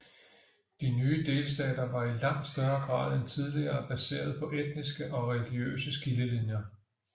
De nye delstater var i langt større grad end tidligere baseret på etniske og religiøse skillelinjer